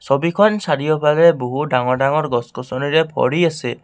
ছবিখন চাৰিওফালে বহু ডাঙৰ ডাঙৰ গছ গছনিয়ে ভৰি আছে।